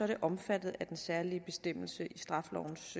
det omfattet af den særlige bestemmelse i straffelovens